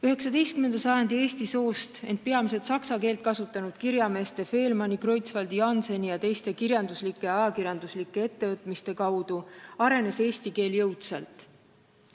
19. sajandil arenes eesti keel tänu eesti soost, ent peamiselt saksa keelt kasutanud kirjameeste Faehlmanni, Kreutzwaldi, Jannseni ja teiste kirjanduslikele ja ajakirjanduslikele ettevõtmistele jõudsalt.